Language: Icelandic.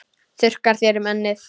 Þurrkar þér um ennið.